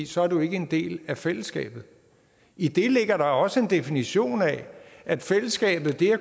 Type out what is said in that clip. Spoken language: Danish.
så er du ikke en del af fællesskabet i det ligger der også en definition af at fællesskabet